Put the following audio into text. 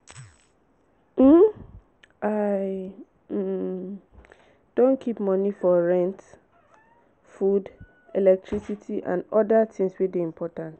um i um don keep moni for rent food electricity and oda tins wey dey important.